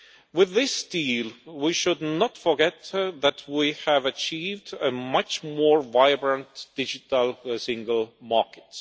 With this deal, we should not forget that we have achieved a much more vibrant Digital Single Market.